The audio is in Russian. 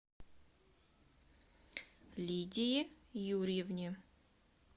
лидии юрьевне